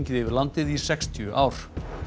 yfir landið í sextíu ár